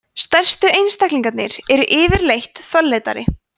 stærstu einstaklingarnir eru yfirleitt fölleitari